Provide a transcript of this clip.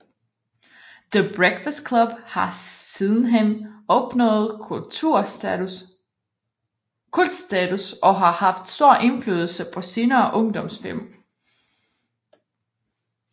The Breakfast Club har sidenhen opnået kultstatus og har haft stor indflydelse på senere ungdomsfilm